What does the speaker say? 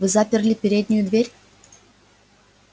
вы заперли переднюю дверь